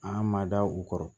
An ma da u kɔrɔ